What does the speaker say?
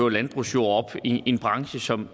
landbrugsjord i en branche som